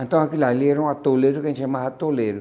Então, aquilo ali era um atoleiro, que a gente chamava atoleiro.